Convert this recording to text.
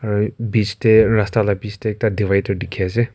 arai bich teh rasta lah bich teh ekta divider dikhi ase.